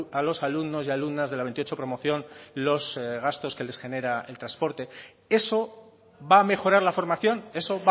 a los alumnos y alumnas de la veintiocho promoción los gastos que les genera el transporte eso va a mejorar la formación eso